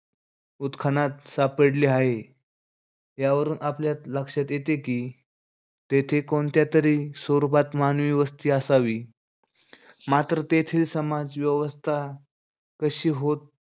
उत्खनात सापडले आहे. यावरून आपल्या लक्षात येते कि, तेथे कोणत्यातरी स्वरूपात मानवी वस्ती असावी. मात्र तेथील समाज व्यवस्था कशी होत,